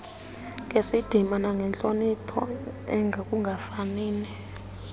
ngesidima nangentloniphi ekungafanini